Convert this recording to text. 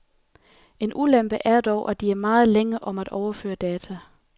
En ulempe er dog, at de er meget længe om at overføre data.